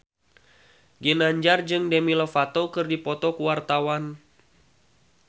Ginanjar jeung Demi Lovato keur dipoto ku wartawan